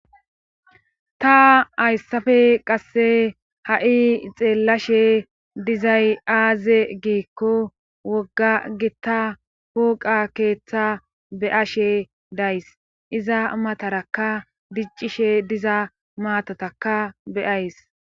ta hayssafe qasse ha7i xeellashe dizay aaze giikko wogga gitta hooqa keeththa beashe days iza matarakka diccishe diza maatataka beyays